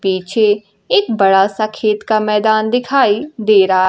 पीछे एक बड़ा सा खेत का मैदान दिखाई दे रहा--